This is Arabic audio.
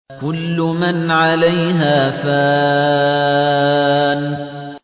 كُلُّ مَنْ عَلَيْهَا فَانٍ